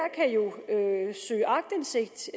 er jo søge aktindsigt